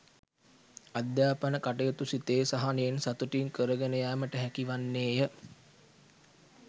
අධ්‍යාපන කටයුතු සිතේ සහනයෙන් සතුටින් කරගෙන යෑමට හැකිවන්නේය